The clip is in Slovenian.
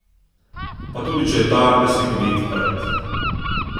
Pa tudi če je ta le slikovit rt.